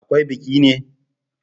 Akwai biki ne?